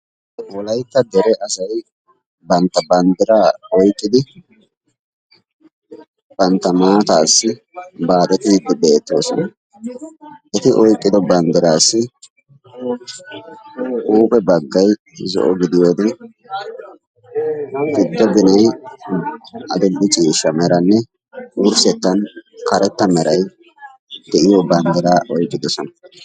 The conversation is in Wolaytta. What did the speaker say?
wollaytta dere asay bantta banddiraa oyqqidi bantta maataassi baaxxeettidi beettoosona. Eti oyqqido banddiraassi huuphe baggay zo'o gidiyoode giddo ginay adil"e ciishsha meranne wurssettan karetta meeray de''iyoo banddiraa oyqqidoosona.